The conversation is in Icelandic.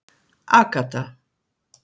Agatha